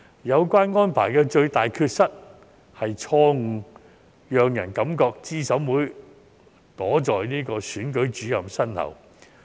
有關安排的最大缺失，是錯誤讓人感覺資審會躲在選舉主任身後。